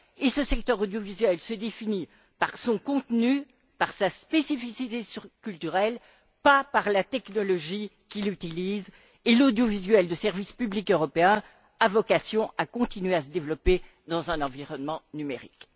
Ce secteur audiovisuel se définit par son contenu, par sa spécificité culturelle, et non par la technologie qu'il utilise et l'audiovisuel de service public européen a vocation à continuer à se développer dans un environnement numérique.